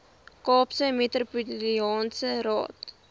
kaapse metropolitaanse raad